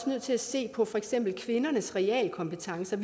nødt til at se på for eksempel kvindernes realkompetencer